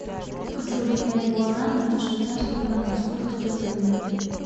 хочу обменять гуарани на швейцарские франки сколько стоит обмен